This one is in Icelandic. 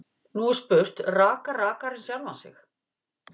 Nú er spurt: Rakar rakarinn sjálfan sig?